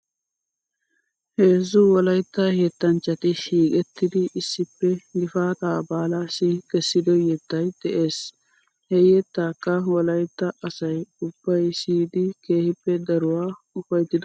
Heezzu wolaytta yettanchchati shiiqettidi issippe gifaataa baalaassi kessido yettay de'es. he yettaakka wolaytta asay ubbay siyidi keehippe daruwaa ufayttidosona .